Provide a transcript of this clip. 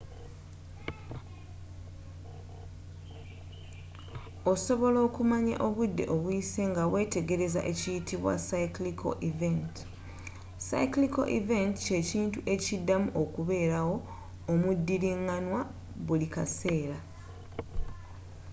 osobola okumanya obudde obuyise ngawetegereza ekiyitibwa cyclical event”. cyclical event kyekintu ekiddamu okubeerawo omudiringanwa buli kaseera